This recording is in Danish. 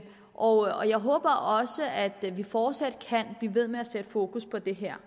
og jeg håber også at vi fortsat kan blive ved med at sætte fokus på det her